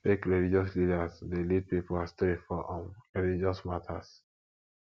fake religious leaders de lead pipo astray for um religious matters